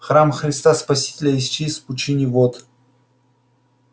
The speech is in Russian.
храм христа спасителя исчез в пучине вод